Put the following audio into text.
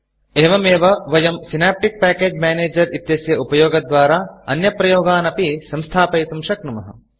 एवमेव वयं synaptic package manager synaptic package manager इत्यस्य उपयोगद्वारा अन्यप्रयोगान् अपि संस्थापयितुं शक्नुमः